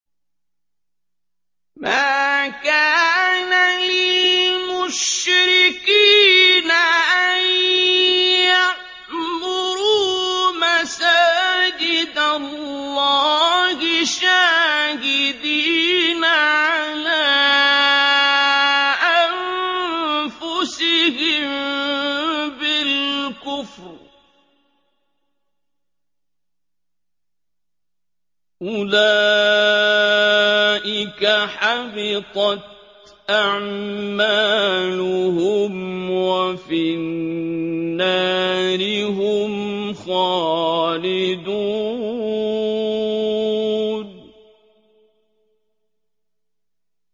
مَا كَانَ لِلْمُشْرِكِينَ أَن يَعْمُرُوا مَسَاجِدَ اللَّهِ شَاهِدِينَ عَلَىٰ أَنفُسِهِم بِالْكُفْرِ ۚ أُولَٰئِكَ حَبِطَتْ أَعْمَالُهُمْ وَفِي النَّارِ هُمْ خَالِدُونَ